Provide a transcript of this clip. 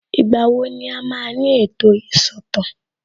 Ìgbà wo ni a máa ní ètò ìsọ̀tàn